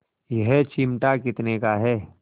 यह चिमटा कितने का है